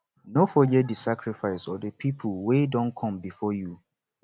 no forget di sacrifices of the pipo wey Accepted come before you